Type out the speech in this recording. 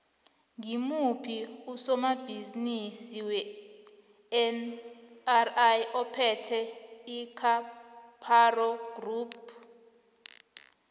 ngimuphi usomabhizimisi wenri ophethe icaparo group